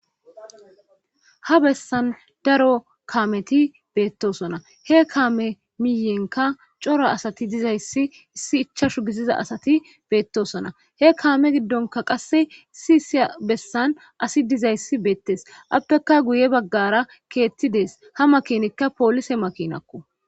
Ha bessan daro kaameti beettosona he kaame miyenka coro asati dizayssi issi ichashu gissiza asati beettosona he kaame giddonka qasse isi isiya bessan asi dizayssi beettes appeka guye baggara keetti dees ha makinikka poolise makinakko